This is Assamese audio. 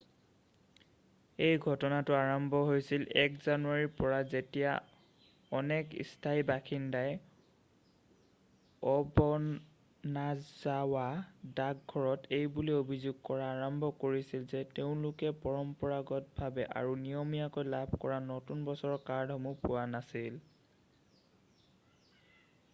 এই ঘটনাটো আৰম্ভ হৈছিল 1 জানুৱাৰীৰ পৰা যেতিয়া অনেক স্থানীয় বাসিন্দাই অ'বনাজাৱা ডাক ঘৰত এইবুলি অভিযোগ কৰা আৰম্ভ কৰিছিল যে তেওঁলোকে পৰম্পৰাগতভাৱে আৰু নিয়মীয়াকৈ লাভ কৰা নতুন বছৰৰ কাৰ্ডসমূহ পোৱা নাছিল